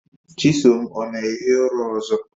Chisom ọ na-ehi ụra ọzọ?